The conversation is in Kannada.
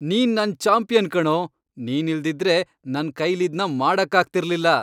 ನೀನ್ ನನ್ ಚಾಂಪಿಯನ್ ಕಣೋ! ನೀನಿಲ್ದಿದ್ರೆ ನನ್ ಕೈಲಿದ್ನ ಮಾಡಕ್ಕಾಗ್ತಿರ್ಲಿಲ್ಲ.